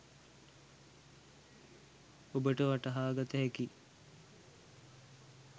ඔබට වටහාගතහැකියි